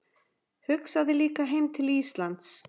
Hugsaði líka heim til Íslands.